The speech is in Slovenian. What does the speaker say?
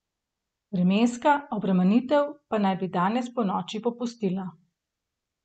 Vremenska obremenitev pa naj bi danes ponoči popustila.